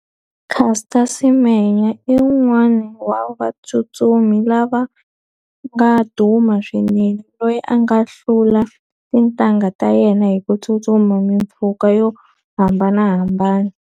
Caster Semenya i wun'wani wa vatsutsumi lava nga duma swinene, loyi a nga hlula tintangha ta yena hi ku tsutsuma mimpfhuka yo hambanahambana.